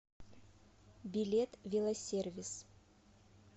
билет велосервис